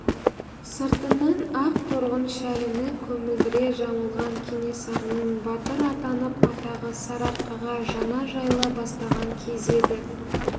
сыртынан ақ торғын шәліні көмілдіре жамылған кенесарының батыр атанып атағы сарыарқаға жаңа жайыла бастаған кезі еді